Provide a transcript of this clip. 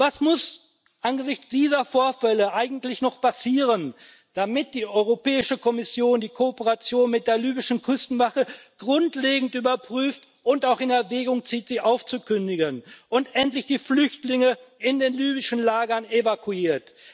Was muss angesichts dieser Vorfälle eigentlich noch passieren, damit die Europäische Kommission die Kooperation mit der libyschen Küstenwache grundlegend überprüft und auch in Erwägung zieht, sie aufzukündigen, und endlich die Flüchtlinge in den libyschen Lagern evakuiert?